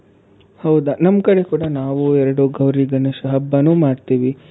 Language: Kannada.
ಹೌದ, ನಮ್ ಕಡೆ ಕೂಡ ನಾವೂ ಎರಡು ಗೌರಿ ಗಣೇಶ ಹಬ್ಬನು ಮಾಡ್ತೀವಿ